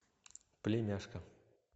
племяшка